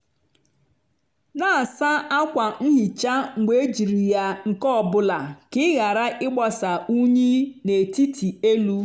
na-asa ákwà nhicha mgbe ejiri ya nke ọ bụla ka ị ghara ịgbasa unyi n'etiti elu.